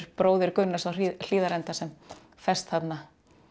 bróðir Gunnars á Hlíðarenda sem ferst þarna